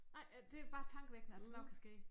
Nej øh det bare tankevækkende at sådan noget kan ske